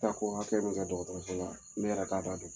Taako hakɛ min ka dɔgɔtɔrɔso la ne yɛrɛ k'a da dɔn